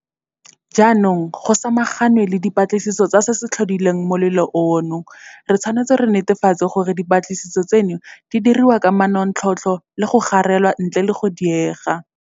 Jaanong go samaganwe le dipatlisiso tsa se se tlhodileng molelo ono. Re tshwanetse re netefatse gore dipatlisiso tseno di diriwa ka manontlhotlho le go garelwa ntle le go diega.